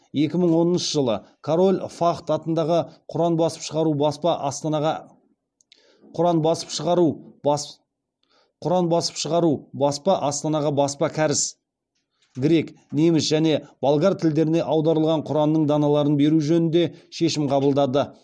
екі мың оныншы жылы король фахд атындағы құран басып шығару баспа астанаға баспа кәріс грек неміс және болгар тілдеріне аударылған құранның даналарын беру жөнінде шешім қабылдады